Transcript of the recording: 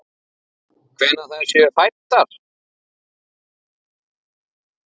Hvenær þær séu fæddar!